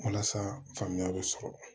Walasa faamuya bɛ sɔrɔ